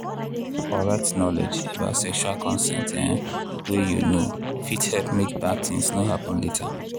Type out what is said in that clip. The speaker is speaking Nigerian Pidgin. correct knowledge about sexual consent um way you know fit help make bad thing no happen later.